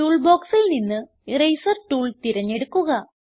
tool ബോക്സിൽ നിന്ന് eraser tool തിരഞ്ഞെടുക്കുക